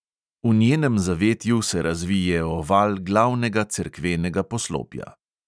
V njenem zavetju se razvije oval glavnega cerkvenega poslopja.